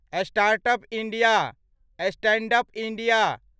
startup India, standup India